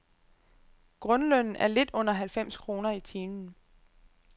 Grundlønnen er lidt under halvfems kroner i timen.